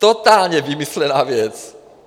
Totálně vymyšlená věc.